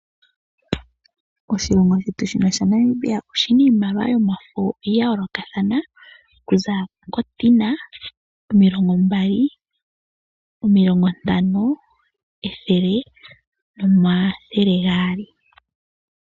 Oshilongo shetu shika shaNamibia oshina iimaliwa yomafo yayoolokathana okuza kotina, omilongo mbali, omilongo ntano, ethele noomthele gaali.